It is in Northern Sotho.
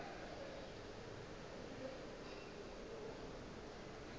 yena o be a sa